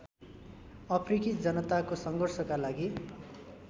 अफ्रिकी जनताको सङ्घर्षका लागि